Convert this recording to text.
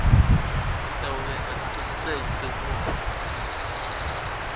kutawenta siciniseko sekutsi